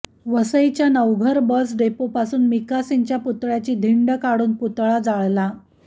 वसईच्या नवघर बस डेपोपासून मिका सिंगच्या पुतळयाची धिंड काढ़ून त्याचा पुतळा जाळला